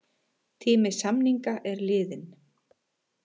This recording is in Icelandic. Tími samninga er liðinn